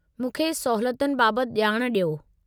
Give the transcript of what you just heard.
मूंखे सहूलियतुनि बाबत ॼाण डि॒यो।